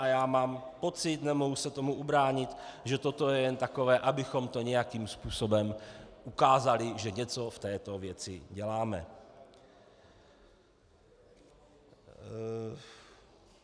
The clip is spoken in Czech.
A já mám pocit, nemohu se tomu ubránit, že toto je jen takové, abychom to nějakým způsobem ukázali, že něco v této věci děláme.